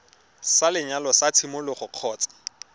sa lenyalo sa tshimologo kgotsa